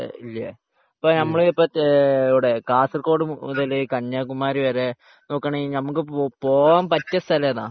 നമ്മൾ ഇപ്പൊ കാസർഗോഡ് മുതൽ കന്യാകുമാരി വരെ നമുക്ക് പോകാൻ പറ്റിയ സ്ഥലം ഏതാ